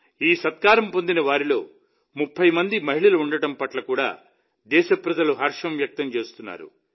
ఈ సన్మానం పొందిన వారిలో 30 మంది మహిళలు ఉండటం పట్ల కూడా దేశప్రజలు హర్షం వ్యక్తం చేస్తున్నారు